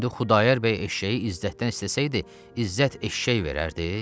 İndi Xudayar bəy eşşəyi İzzətdən istəsəydi, İzzət eşşək verərdi?